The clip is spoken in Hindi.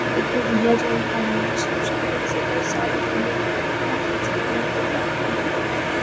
देखिये दिया जल रहा है सब सफ़ेद सफ़ेद साड़ी पहन के इतना मस्त दिया जला रही है ।